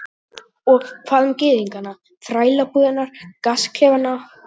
Og hvað um gyðingana, þrælabúðirnar, gasklefana?